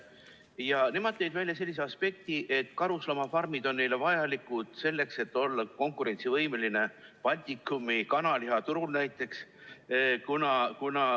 Ja nemad tõid välja sellise aspekti, et karusloomafarmid on neile vajalikud selleks, et olla konkurentsivõimeline Baltikumi kanalihaturul näiteks.